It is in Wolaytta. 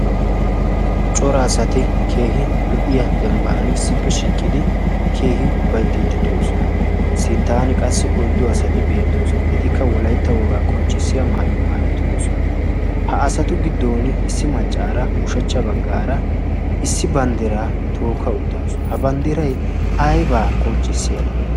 Cora asati keehi lo''iya dembban issippe shiiqidi keehi ufayttidi de'oosona. Sinttan qassi oyddu asati beettoosona. Etikka wolaytta wogaa qonccissiya maayuwaa maayi uttidosona. Ha asatu giddon issi maccaara ushachcha baggaara issi banddiraa tookka uttaasu. Ha banddiray aybaa qonccissiyaagee?